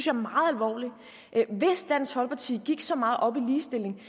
er meget alvorligt hvis dansk folkeparti gik så meget op i ligestilling